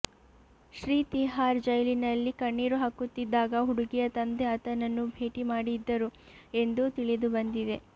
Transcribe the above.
ಶ್ರೀ ತಿಹಾರ್ ಜೈಲಿನಲ್ಲಿ ಕಣ್ಣಿರು ಹಾಕುತ್ತಿದ್ದಾಗ ಹುಡುಗಿಯ ತಂದೆ ಆತನನ್ನು ಭೇಟಿ ಮಾಡಿದ್ದರು ಎಂದೂ ತಿಳಿದುಬಂದಿದೆ